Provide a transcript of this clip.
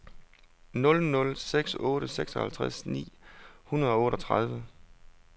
nul nul seks otte seksoghalvtreds ni hundrede og otteogtredive